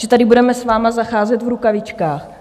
Že tady budeme s vámi zacházet v rukavičkách?